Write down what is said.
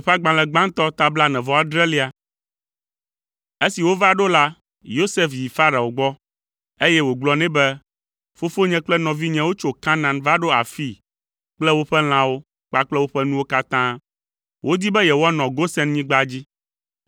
Esi wova ɖo la, Yosef yi Farao gbɔ, eye wògblɔ nɛ be, “Fofonye kple nɔvinyewo tso Kanaan va ɖo afii kple woƒe lãwo kpakple woƒe nuwo katã. Wodi be yewoanɔ Gosenyigba dzi.”